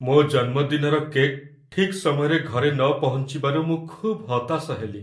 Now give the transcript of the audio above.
ମୋ ଜନ୍ମଦିନର କେକ୍ ଠିକ୍ ସମୟରେ ଘରେ ନ ପହଞ୍ଚିବାରୁ ମୁଁ ଖୁବ୍ ହତାଶ ହେଲି।